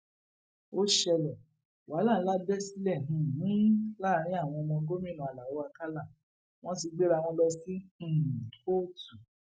ó ṣẹlẹ wàhálà ńlá bẹ sílẹ um láàrin àwọn ọmọ gómìnà alao akala wọn ti gbéra wọn lọ sí um kóòtù